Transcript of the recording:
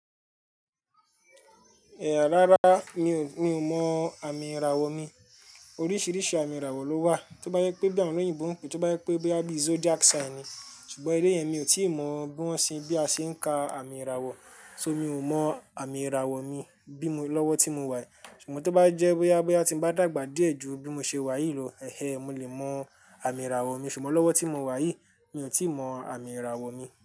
Ẹ rárá mi ò, mi ò mọ àmì ìràwọ̀ mi. Oríṣìíríṣìí àmì ìràwọ̀ ló wà. Tí ó bá jẹ pé bí àwọn olóyìnbo ń pè é, tí ó bá jẹ pé boya bí zodiac sign ni, ṣùgbọ́n eléyen mi ò tí ì mọ bí wọ́n ṣe, bí a ṣe ń ka àmì ìràwọ̀. So mi ò mọ àmì ìràwọ̀ mi bí mo, lọ́wọ́ tí mo wà yìí. Ṣùgbọ́n tí ó bá jẹ́ boya boyá ti ń bá dàgbà díẹ̀ ju bí mo ṣe wà yìí lọ, mo lè mọ àmì ìràwọ̀ mi. Ṣùgbọ́n lọ́wọ́ tí mo wà yìí, mi ò tí ì mọ àmì ìràwọ̀ mi.